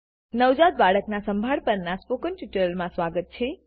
નવજાત બાળકના સંભાળ પરનાઆ સ્પોકન ટ્યુટોરીયલમાં સ્વાગત છે